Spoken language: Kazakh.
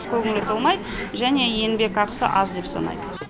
көңілі толмайды және еңбек ақысы аз деп санайды